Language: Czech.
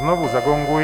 Znovu zagonguji.